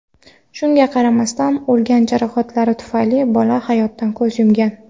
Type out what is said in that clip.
Shunga qaramasdan, olgan jarohatlari tufayli bola hayotdan ko‘z yumgan.